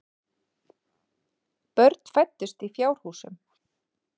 Börn fæddust í fjárhúsum.